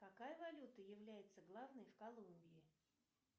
какая валюта является главной в колумбии